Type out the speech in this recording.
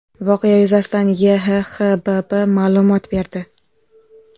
Voqea yuzasidan YHXBB ma’lumot berdi .